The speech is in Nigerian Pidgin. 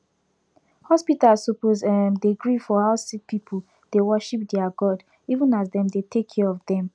hospitas suppos erm de gree for how sicki pipu dey worship deir god even as dem dey take care of dem